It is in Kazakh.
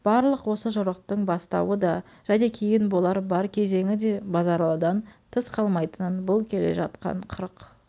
барлық осы жорықтың бастауы да және кейін болар бар кезеңі де базаралыдан тыс қалмайтынын бұл келе жатқан қырық